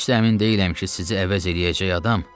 Heç də əmin deyiləm ki, sizi əvəz eləyəcək.